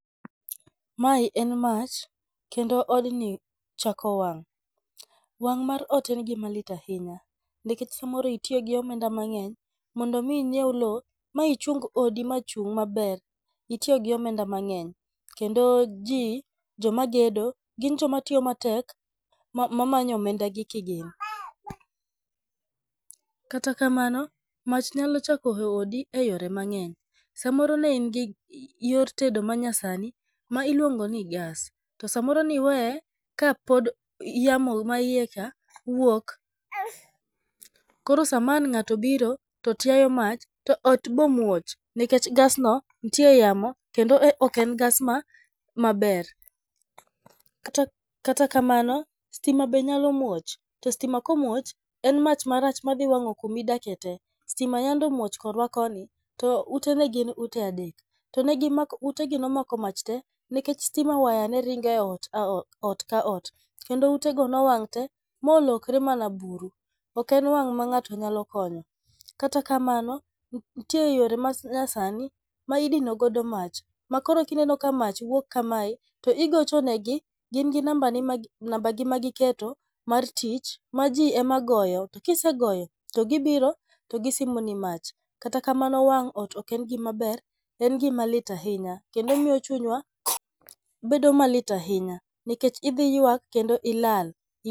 Mae en mach, kendo odni ochako wang'. Wang' mar ot en gima lit ahinya. Nikech sama moro itiyo gi omenda, mondo mi inyieu lo, ma ichung odi ma chung maber, itiyo gi omenda mang'eny. Kendo ji joma gedo gin joma tiyo matek ma manyo omenda gi kigin. Kata kamano, mach nyalo chako e odi e yore mang'eny. Samoro ne in gi yor tedo manyasani ma iluongo ni gas , to samoro niweye kapod yamo ma iye cha wuok. Koro sama an ng'ato biro to tiayo mach to ot bomuoch, nikech gas nitie yamo kendo ok en gas maber. Kata kata kamano, stima be nyalo muoch, to stima ka omuoch, en mach marach ma dhi wang'o kuma idake te. Stima yande omuoch korwa koni, to ute ne gin ute adek. To negi mako utegi nomako mach te nikech stima wire ne ringo e ot ka ot. Kendo utego nowang' te molokre mana buru. Ok en wang' ma ng'ato nyalo konyo, kata kamano nitie yore ma nyasani ma idino godo mach, ma koro kineno ka mach wuok kamae, to igocho negi gin gi namba ni namba gi ma giketo mar tich ma ji ema goyo. To kisegoyo to gibiro to gisimoni mach. Kata kamano wang' ot ok en gima ber, en gima lit ahinya kendo omiyo chunywa bedo malit ahinya nikech idhi ywak kendo ilal.